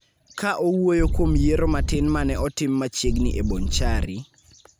Ka owuoyo kuom yiero matin ma ne otim machiegni e Bonchari,